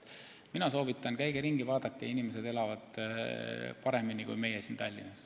Mina soovitan, et käige ringi ja vaadake – inimesed elavad seal paremini kui meie siin Tallinnas.